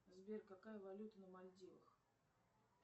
сбер какая валюта на мальдивах